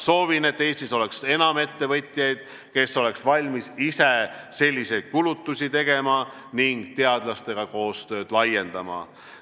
Soovin, et Eestis oleks enam ettevõtjaid, kes oleks valmis ise selliseid kulutusi tegema ning teadlastega koostööd laiendama.